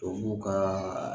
Tubabu ka